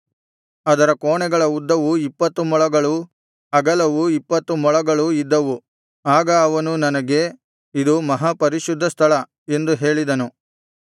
ಅದರ ಕೋಣೆಗಳ ಉದ್ದವು ಇಪ್ಪತ್ತು ಮೊಳಗಳೂ ಅಗಲವು ಇಪ್ಪತ್ತು ಮೊಳಗಳೂ ಇದ್ದವು ಆಗ ಅವನು ನನಗೆ ಇದು ಮಹಾಪರಿಶುದ್ಧ ಸ್ಥಳ ಎಂದು ಹೇಳಿದನು